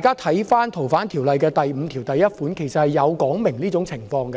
《逃犯條例》第51條對這種情況